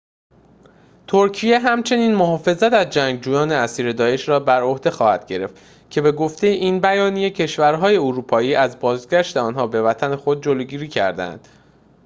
ترکیه همچنین محافظت از جنگجویان اسیر داعش را بر عهده خواهد گرفت که به گفته این بیانیه کشور‌های اروپایی از بازگشت آنها به وطن خود جلوگیری کرده‌اند